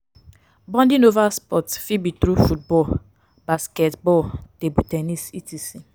bonding over sports fit be through football basketball table ten nis etc.